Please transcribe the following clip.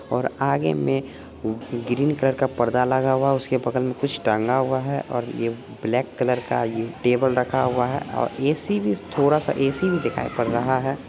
और आगे में ग्रीन कलर का पर्दा लगा हुआ है उसके बगल में टांगा हुआ है आर यह ब्लेक कलर यहाँ टेबल रखा हुआ है और ऐसी भी थोड़ा ऐसी भी दिखाई पड़ रहा है।